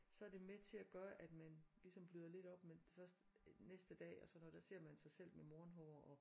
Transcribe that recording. Så er det med til at gøre at man ligesom bløder lidt op men det først næste dag og så når der ser man sig selv med morgen hår og